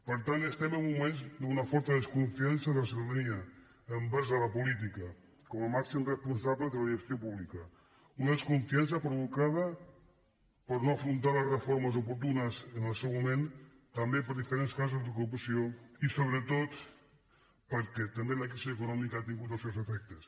per tant estem en uns moments d’una forta desconfiança de la ciutadania envers la política com a màxim responsable de la gestió pública una desconfiança provocada per no haver afrontat les reformes oportunes en el seu moment també per diferents casos de corrupció i sobretot perquè també la crisi econòmica ha tingut els seus efectes